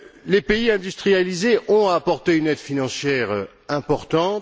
Les pays industrialisés ont apporté une aide financière importante.